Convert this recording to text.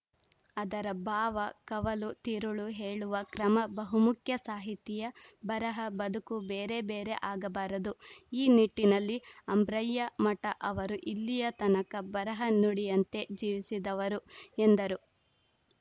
ಅದರ ಭಾವ ಕವಲು ತಿರುಳು ಹೇಳುವ ಕ್ರಮ ಬಹುಮುಖ್ಯ ಸಾಹಿತಿಯ ಬರಹ ಬದುಕು ಬೇರೆ ಬೇರೆ ಆಗಬಾರದು ಈ ನಿಟ್ಟಿನಲ್ಲಿ ಅಂಬ್ರಯ್ಯ ಮಠ ಅವರು ಇಲ್ಲಿಯ ತನಕ ಬರಹ ನುಡಿಯಂತೆ ಜೀವಿಸಿದವರು ಎಂದರು